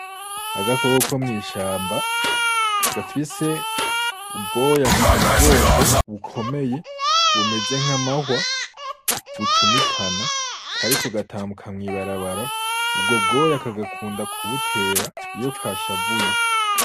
Agakoko ko mw’ishamba, gafise ubwoya ku mugongo bukomeye bumeze nk’amahwa, bucumitana kariko gatambuka mwi barabara, ubwo bwoya kagakunda kubutera iyo kashavuye.